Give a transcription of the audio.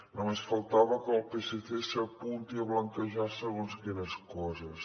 només faltava que el psc s’apunti a blanquejar segons quines coses